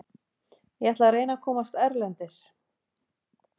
Ég ætla að reyna að komast erlendis.